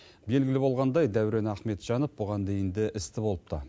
белгілі болғандай дәурен ахметжанов бұған дейін де істі болыпты